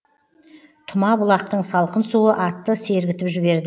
тұма бұлақтың салқын суы атты сергітіп жіберді